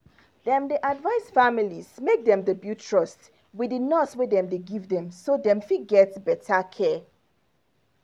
dem dey advise families make dem build trust with the nurse wey dem give dem so dem fit get better care